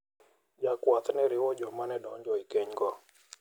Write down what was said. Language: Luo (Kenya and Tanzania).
Jakwath ne oriwo joma ne donjo e keny go.